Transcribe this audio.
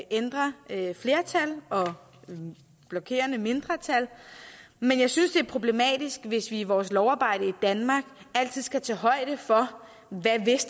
ændre flertal og blokerende mindretal men jeg synes det er problematisk hvis vi i vores lovarbejde i danmark altid skal tage højde for